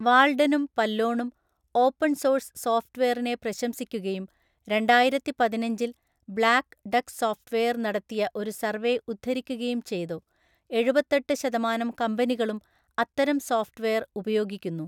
വാൾഡനും പല്ലോണും open source സോഫ്‌റ്റ്‌വെയറിനെ പ്രശംസിക്കുകയും രണ്ടായിരത്തിപതിനഞ്ചില്‍ ബ്ലാക്ക് ഡക്ക് സോഫ്‌റ്റ്‌വെയർ നടത്തിയ ഒരു സർവേ ഉദ്ധരിക്കുകയും ചെയ്‌തു, എഴുപത്തെട്ടു ശതമാനം കമ്പനികളും അത്തരം സോഫ്‌റ്റ്‌വെയർ ഉപയോഗിക്കുന്നു.